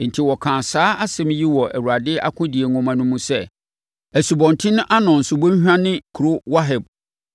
Enti, wɔkaa saa asɛm yi wɔ Awurade akodie nwoma no mu sɛ, asubɔnten Arnon subɔnhwa ne kuro Waheb